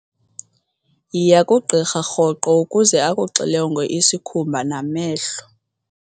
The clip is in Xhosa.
Yiya kugqirha rhoqo ukuze akuxilonge isikhumba namehlo.